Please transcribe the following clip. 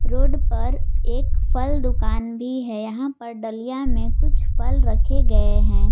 Road पर एक फल दुकान भी है यहां पर डालिया में कुछ फल रखे गए हैं।